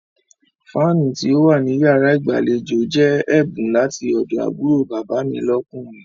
Fáánù tí ó wà ní yàrá ìgbàlejò jẹ́ ẹ̀bùn láti ọ̀dọ̀ àbúrò bàbá mi lọ́kùnrin.